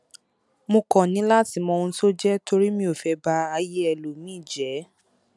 mo kàn ní láti mọ ohun tó jẹ torí mi ò fẹ ba ayé ẹlòmíì jẹ